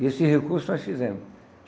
E esse recurso nós fizemos.